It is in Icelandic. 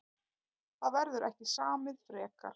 Það verður ekki samið frekar